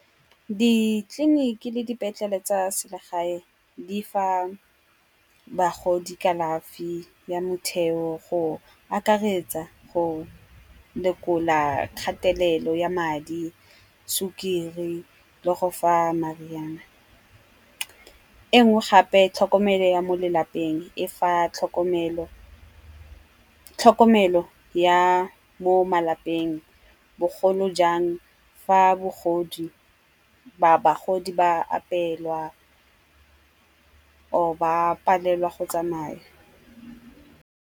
Ditleliniki le dipetlele tsa selegae di fa bagodi kalafi ya motheo go akaretsa, go lekola kgatelelo ya madi, sukiri le go fa mariana. Engwe gape tlhokomelo ya mo lelapeng e fa tlhokomelo ya mo malapeng bogolo jang fa bagodi ba apelwa or ba palelwa go tsamaya.